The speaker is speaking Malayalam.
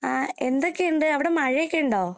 ആഹ് എന്തൊക്കെയുണ്ട്? അവടെ മഴയൊക്കെയുണ്ടോ?